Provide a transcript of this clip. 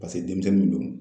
denmisɛnninw don.